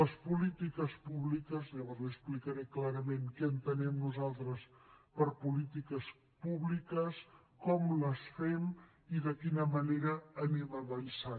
les polítiques públiques llavors li explicaré clarament què entenem nosaltres per polítiques públiques com les fem i de quina manera anem avançant